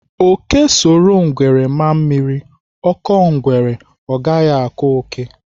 Ókè soro ngwere ma mmiri, ọ kọọ ngwere, ọ gaghị akọ ókè.